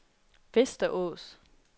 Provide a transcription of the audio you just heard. Västerås